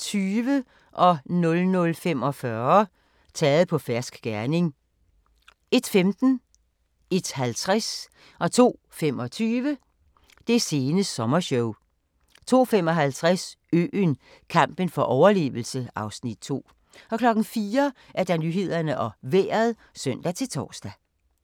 00:45: Taget på fersk gerning 01:15: Det sene sommershow 01:50: Det sene sommershow 02:25: Det sene sommershow 02:55: Øen - kampen for overlevelse (Afs. 2) 04:00: Nyhederne og Vejret (søn-tor)